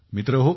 मित्रहो